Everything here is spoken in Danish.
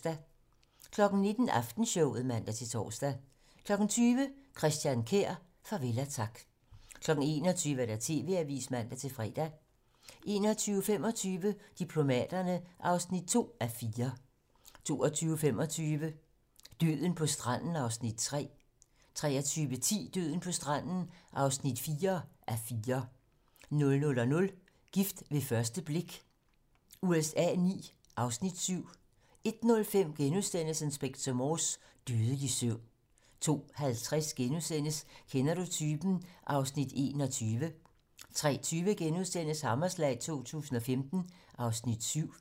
19:00: Aftenshowet (man-tor) 20:00: Christian Kjær - farvel og tak 21:00: TV-Avisen (man-fre) 21:25: Diplomaterne (2:4) 22:25: Døden på stranden (3:4) 23:10: Døden på stranden (4:4) 00:00: Gift ved første blik USA IX (Afs. 7) 01:05: Inspector Morse: Dødelig søvn * 02:50: Kender du typen? (Afs. 21)* 03:20: Hammerslag 2015 (Afs. 7)*